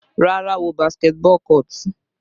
Rárá, wo basketball court.